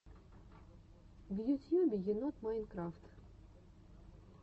в ютьюбе енот майнкрафт